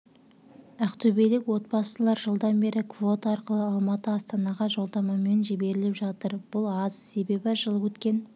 ақтөбелік отбасылар жылдан бері квота арқылы алматы астанаға жолдамамен жіберіліп жатыр бұл аз себебі жыл өткен